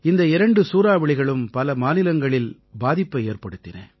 இந்த இரண்டு சூறாவளிகளும் பல மாநிலங்களில் பாதிப்பை ஏற்படுத்தின